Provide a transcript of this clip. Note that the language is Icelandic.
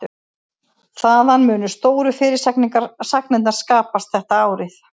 Þaðan munu stóru fyrirsagnirnar skapast þetta árið.